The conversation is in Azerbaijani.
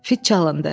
Fit çalındı.